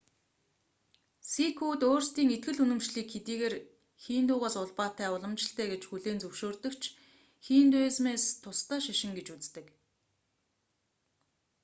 сикүүд өөрсдийн итгэл үнэмшлийг хэдийгээр хиндугээс улбаатай уламжлалтай гэж хүлээн зөвшөөрдөг ч хиндуизмээс тусдаа шашин гэж үздэг